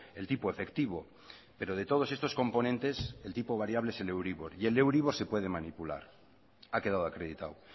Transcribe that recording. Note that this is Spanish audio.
el tipo efectivo pero de todos estos componentes el tipo variable es el euribor y el euribor se puede manipular ha quedado acreditado